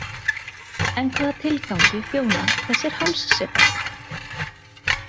En hvaða tilgangi þjóna þessir hálssepar?